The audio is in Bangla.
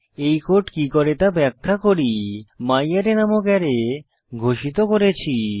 এই কোড কি করে তা ব্যাখ্যা করি ম্যারে নামক অ্যারে ঘোষিত হয়েছে